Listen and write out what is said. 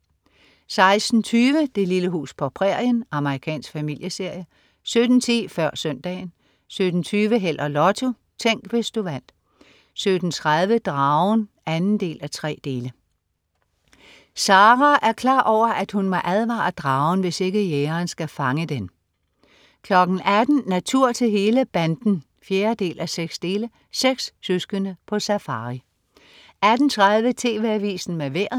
16.20 Det lille hus på prærien. Amerikansk familieserie 17.10 Før Søndagen 17.20 Held og Lotto. Tænk, hvis du vandt 17.30 Dragen 2:3 Sara er klar over, at hun må advare dragen, hvis ikke jægeren skal fange den 18.00 Natur til hele banden 4:6. Seks søskende på safari 18.30 TV Avisen med Vejret